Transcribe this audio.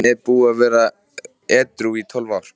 Hann er búinn að vera edrú í tólf ár.